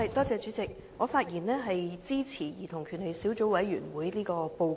主席，我發言支持"兒童權利小組委員會的報告"。